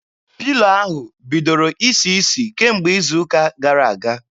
Pilo ahụ bidoro isi isi kemgbe izu ụka gara aga.